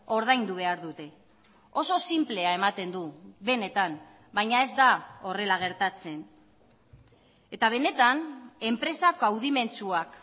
ordaindu behar dute oso sinplea ematen du benetan baina ez da horrela gertatzen eta benetan enpresak kaudimentxuak